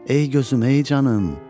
Ey gözüm, ey canım.